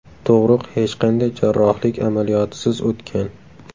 Tug‘ruq hech qanday jarrohlik amaliyotisiz o‘tgan.